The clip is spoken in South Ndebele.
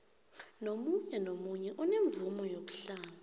nomunye onemvumo yokuhlala